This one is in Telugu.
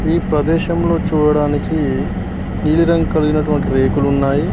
ఈ ప్రదేశంలో చూడడానికి నీలిరంగు కలిగినటువంటి రేకులు ఉన్నాయి.